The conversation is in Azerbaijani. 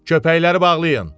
Köpəkləri bağlayın.